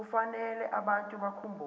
kufanele abantu bakhumbule